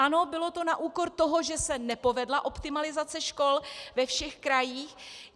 Ano, bylo to na úkor toho, že se nepovedla optimalizace škol ve všech krajích.